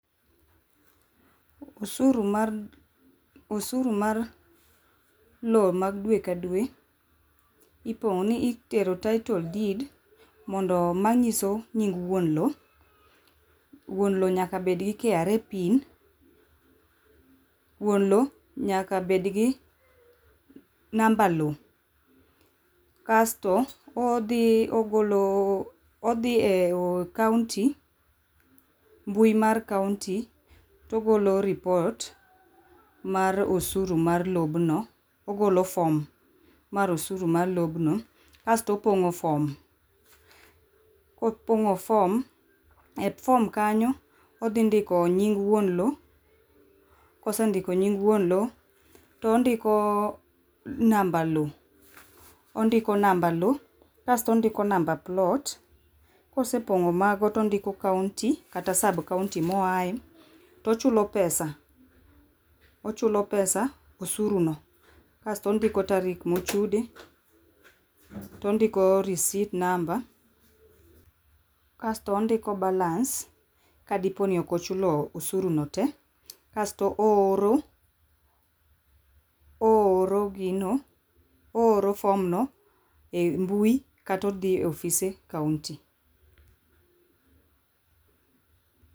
Usuru mar ,osuru mar loo mag dwe ka dwe ipongo ni itero title deed mondo manyiso nying' wuon loo, wuon loo nyaka bed gi KRA pin, wuon looo nyaka bedgi namba loo kasto odhi ogolo ,odhi e kaunti, mbui mar kaunti togolo ripot mar osuru mar lobno, ogolo form mar osuru mar lobno asto opongo form. Kopongo form e form kanyo odhi ndiko nying wuon loo kosendiko nying wuon loo tondiko namba loo, ondiko namba loo kasto ondiko namba plot, kospeongo mago tondiko kaunti kata sab kaunti moaye tochulo pesa, ochulo pesa, osuru no kasto ondiko tarik mochude tondiko risit namba, kasto ondiko balance kadiponi ok ochulo osuru no tee kasto ooro, ooro gino, ooro form no e mbui kata odhi e ofise kaunti